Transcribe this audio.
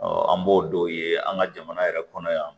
an b'o dɔw ye an ka jamana yɛrɛ kɔnɔ yan